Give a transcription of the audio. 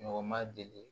Ɲɔgɔn ma deli